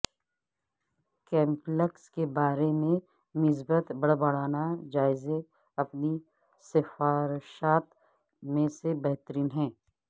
complex کے بارے میں مثبت بڑبڑانا جائزے اپنی سفارشات میں سے بہترین ہیں